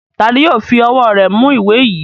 Ta ni yóò fi ọwọ́ rẹ̀ mú ìwé yìí?